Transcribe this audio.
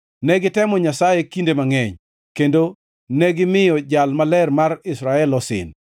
Ne gitemo Nyasaye kinde mangʼeny, kendo negimiyo Jal Maler mar Israel osin.